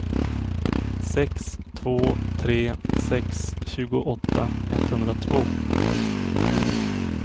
sex två tre sex tjugoåtta etthundratvå